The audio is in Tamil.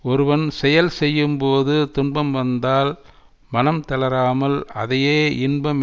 ஒருவன் செயல் செய்யும்போது துன்பம் வந்தால் மனம் தளராமல் அதையே இன்பம்